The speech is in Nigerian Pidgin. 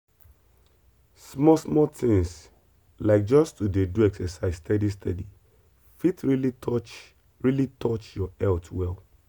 small small things like just to dey do exercise steady steady fit really touch really touch your health well.